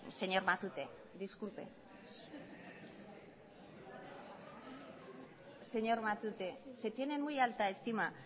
señor matute disculpe señor matute se tiene en muy alta estima